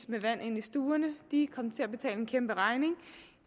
med vand ind i stuerne de kom til at betale en kæmpe regning